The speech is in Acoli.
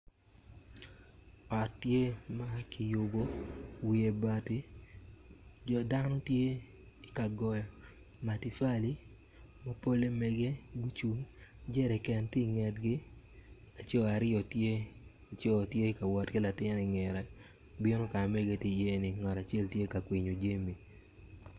Ot tye ma kigoyo wiye bati dok dano tye ka goyo matafali ma polle mege gucung jeriken tye ingetgi co aryo tye ka wot ki latin ingete bino ka ma megigi tye iyeni ngat acel tye ka kwinyo jami.